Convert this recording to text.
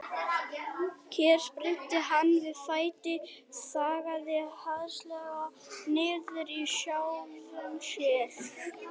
Hér spyrnti hann við fæti, þaggaði hastarlega niður í sjálfum sér.